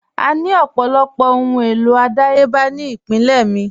À ní ọ̀pọ̀lọpọ̀ awọn ọhun elo adáyèbà ni ìpínlẹ̀ mi.